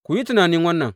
Ku yi tunani wannan!